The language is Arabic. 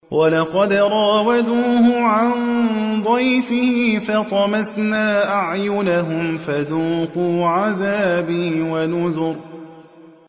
وَلَقَدْ رَاوَدُوهُ عَن ضَيْفِهِ فَطَمَسْنَا أَعْيُنَهُمْ فَذُوقُوا عَذَابِي وَنُذُرِ